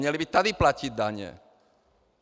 Měli by tady platit daně.